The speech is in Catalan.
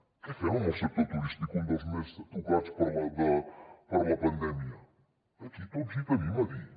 què fem amb el sector turístic un dels més tocats per la pandèmia aquí tots hi tenim a dir